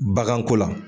Baganko la